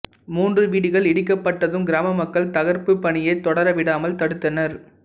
மூன்று வீடுகள் இடிக்கப்பட்டதும் கிராம மக்கள் தகர்ப்புப் பணியைத் தொடர விடாமல் தடுத்தனர்